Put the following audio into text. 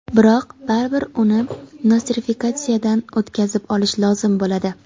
Biroq baribir uni nostrifikatsiyadan o‘tkazib olish lozim bo‘ladi.